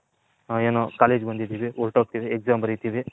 ಹ ಏನೋ College ಗೆ ಬಂದಿದಿವಿ ಒರ್ತೊಗ್ತಿವಿ Exam ಬರಿತಿವಿ